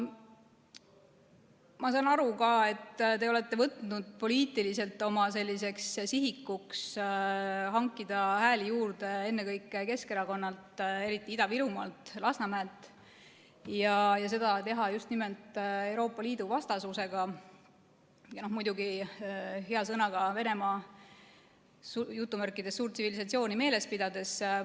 Ma saan ka aru, et te olete võtnud poliitiliselt oma sihikuks hankida hääli juurde ennekõike Keskerakonnalt, eriti Ida-Virumaalt ja Lasnamäelt, ning teha seda just nimelt Euroopa Liidu vastasusega ja muidugi hea sõnaga Venemaa "suurt tsivilisatsiooni" meeles pidades.